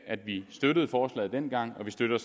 at vi støttede forslaget dengang og vi støtter